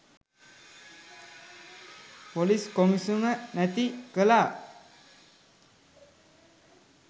police කොමිසම නැති කළා